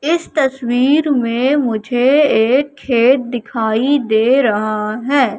इस तस्वीर में मुझे एक खेत दिखाई दे रहा है।